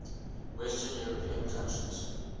western european countries